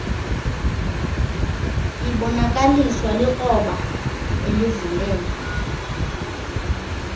ibonakaliswa likroba elivulela